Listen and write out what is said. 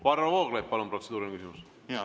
Varro Vooglaid, palun, protseduuriline küsimus!